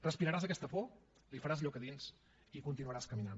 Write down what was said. respiraràs aquesta por li faràs lloc a dins i continuaràs caminant